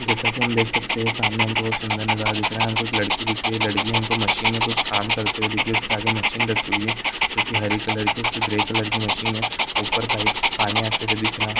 जैसा की हम देख सकते हैं सामने हमको बहुत सुन्दर नजारा दिख रहा है। हमको एक लड़की दिख रही है। लड़की हमको मशीन में कुछ काम करते हुए दिख रही हैं उसके आगे मशीन रखी हुयी हैं जो की हरे कलर की उस पे ग्रे कलर की मशीन हैं। ऊपर पाइप से पानी आते हुए दिख रहा है।